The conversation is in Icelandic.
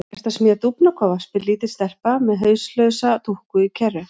Ertu að smíða dúfnakofa? spyr lítil stelpa með hauslausa dúkku í kerru.